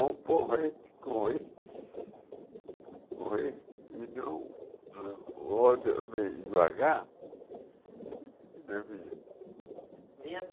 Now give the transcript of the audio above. Um porrete correr... correr e não... rodar bem devagar... e não vinha. Vinha